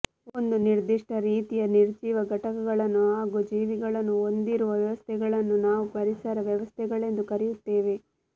ಒಂದು ನಿರ್ದಿಷ್ಟ ರೀತಿಯ ನಿರ್ಜೀವ ಘಟಕಗಳನ್ನು ಹಾಗೂ ಜೀವಿಗಳನ್ನು ಹೊಂದಿರುವ ವ್ಯವಸ್ಥೆಗಳನ್ನು ನಾವು ಪರಿಸರ ವ್ಯವಸ್ಥೆಗಳೆಂದು ಕರೆಯುತ್ತೇವೆ